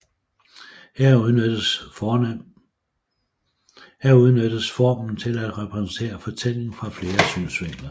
Her udnyttes formen til at præsentere fortællingen fra flere synsvinkler